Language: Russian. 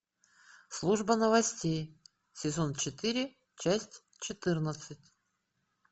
служба новостей сезон четыре часть четырнадцать